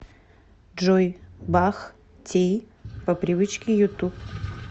джой бах ти по привычке ютуб